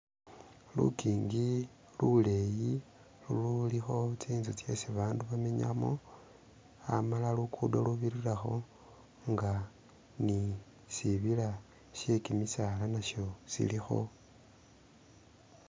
Lugingi luleyi ululikho tsinzu tsesi babandu bamenyamo khamala lugudo lubirilakho nga ni sibiila shegimisaala nasho shilikho.